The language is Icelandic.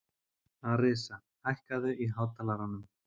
Arisa, hækkaðu í hátalaranum.